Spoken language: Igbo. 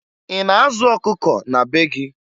Ị na-azụ ọkụkọ na be gị?